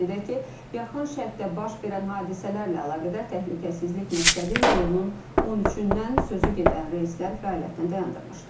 Qeyd edək ki, yaxın şərqdə baş verən hadisələrlə əlaqədar təhlükəsizlik məqsədi ilə iyulun 13-dən sözü gedən reyslər fəaliyyətini dayandırmışdı.